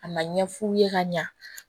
Ka na ɲɛ f'u ye ka ɲa